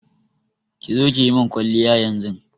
ƙi zo kiyimin kwaliya yanzun.